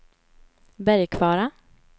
Bergkvara